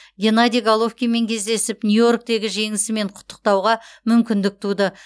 геннадий головкинмен кездесіп нью йорктегі жеңісімен құттықтауға мүмкіндік туды